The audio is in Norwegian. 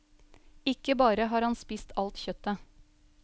Ikke bare har han spist alt kjøttet.